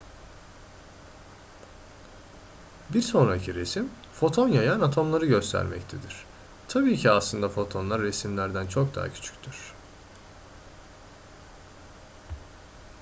bir sonraki resim foton yayan atomları göstermektedir tabii ki aslında fotonlar resimdekilerden çok daha küçüktür